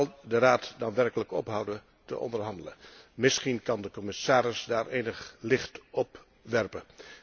Zal de Raad dan werkelijk ophouden te onderhandelen? Misschien kan de commissaris daar enig licht op werpen.